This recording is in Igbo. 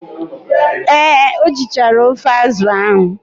Ee, o jichara ofe azụ ahụ.